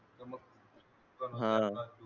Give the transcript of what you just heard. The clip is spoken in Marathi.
हा